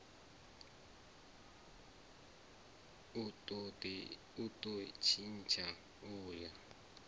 u do tshintsha u ya